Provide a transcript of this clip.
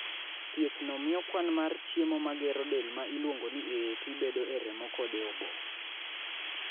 Thiethno miyo kwan mar chiemo ma gero del ma iluongo ni AAT bedo e remo kod e obo.